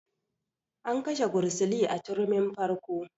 An kashe gursili a turmin farko